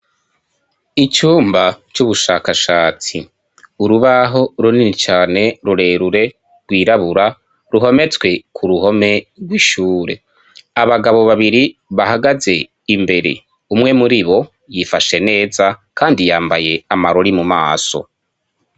Icumba c' ubushakashatsi, urubaho runini cane rurerure rwirabura ruhometswe ku ruhome rw'ishure. Abagabo babiri bahagaze imbere umwe muri bo yifashe neza kandi yambaye amarori mu maso.